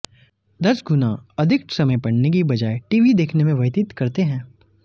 दस गुना अधिक समय पढऩे की बजाए टीवी देखने में व्यतीत करते हैं